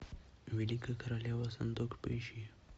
великая королева сондок поищи